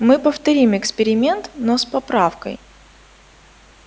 мы повторим эксперимент но с поправкой